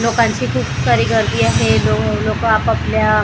लोकांची खूप सारी गर्दी आहे लो लोकं आपापल्या--